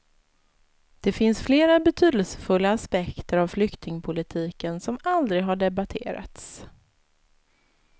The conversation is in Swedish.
Det finns flera betydelsefulla aspekter av flyktingpolitiken som aldrig har debatterats.